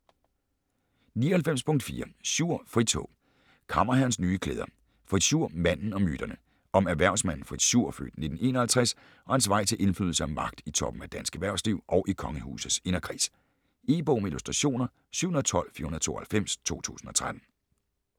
99.4 Schur, Fritz H. Kammerherrens nye klæder: Fritz Schur - manden og myterne Om erhvervsmanden Fritz Schur (f. 1951) og hans vej til indflydelse og magt i toppen af dansk erhvervsliv og i kongehusets inderkreds. E-bog med illustrationer 712492 2013.